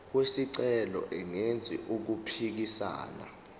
wesicelo engenzi okuphikisana